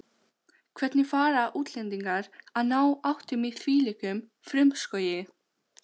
Hvernig fara útlendingar að ná áttum í þvílíkum frumskógi?